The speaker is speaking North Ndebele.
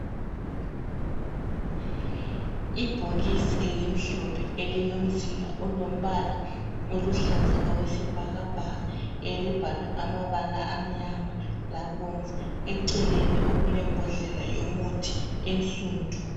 Ibhokisi elimhlophe elilomzila olombala oluhlaza okwesibhakabhaka elibhalwe amabala amnyama labomvu, eceleni okulembodlela yomuthi ensundu.